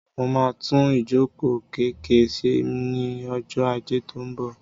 Mo máa tún ìjókòó kẹ̀kẹ́ ṣe ní ọjọ́ ajé tó ń bọ̀.